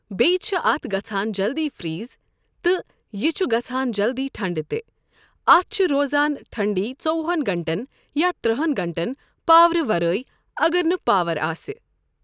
بییٚہِ چھِ اتھ گژھان جلدی فریز، تہِ، یہِ چھ گژھان جلدی ٹھنٛڈٕ تہٕ، اتھ چھ روزان ٹھنٛڈی ژوٚوہن گنٹن یا ترٕٚہن گنٹن پاورٕ ورٲے اگر نہٕ پاور آسہِ۔